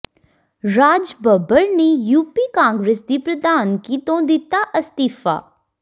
ਰਾਜ ਬੱਬਰ ਨੇ ਯੂਪੀ ਕਾਂਗਰਸ ਦੀ ਪ੍ਰਧਾਨਗੀ ਤੋਂ ਦਿੱਤਾ ਅਸਤੀਫਾ